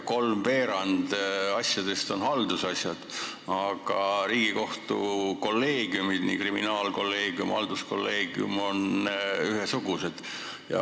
Kolmveerand asjadest on haldusasjad, aga Riigikohtu kriminaalkolleegium ja halduskolleegium on enam-vähem ühesuurused.